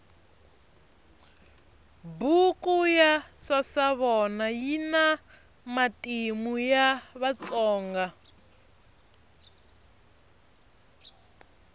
buku ya sasavona yina matimu ya vatsonga